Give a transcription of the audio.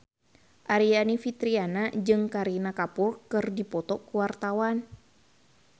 Aryani Fitriana jeung Kareena Kapoor keur dipoto ku wartawan